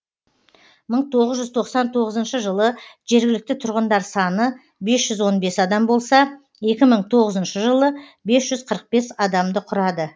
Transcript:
мың тоғыз жүз тоқсан тоғызыншы жылы жергілікті тұрғындар саны бес жүз он бес адам болса екі мың тоғызыншы жылы бес жүз қырық бес адамды құрады